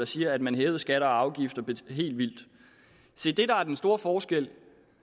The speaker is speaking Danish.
siger at man hævede skatter og afgifter helt vildt se det der er den store forskel